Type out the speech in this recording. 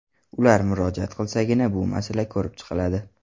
Ular murojaat qilsagina, bu masala ko‘rib chiqiladi.